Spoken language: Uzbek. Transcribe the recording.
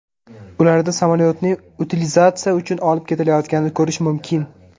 Ularda samyolyotning utilizatsiya uchun olib ketilayotganini ko‘rish mumkin.